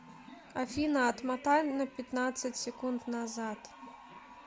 афина отмотай на пятнадцать секунд назад